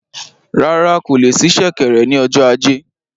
Rárá, kò le sí ṣẹ̀kẹ̀rẹ̀ ni ọjọ ajé